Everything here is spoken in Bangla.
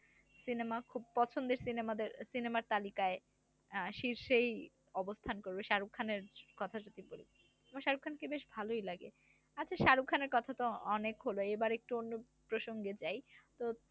সিনেমা খুব পছন্দের সিনেমাদের সিনেমার তালিকায় আহ শীর্ষেই অবস্থান করবে শাহরুখ খানের কথা যদি বলি আমার শাহরুখ খানকে বেশ ভালো লাগে, আচ্ছা শাহরুখ খানের কথা তো অনেক হলো এবার একটু অন্য প্রসঙ্গে যাই তো